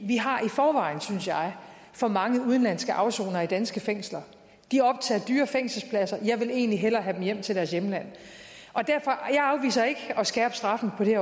vi har i forvejen synes jeg for mange udenlandske afsonere i danske fængsler de optager dyre fængselspladser jeg vil egentlig hellere have dem hjem til deres hjemland jeg afviser ikke at skærpe straffen på det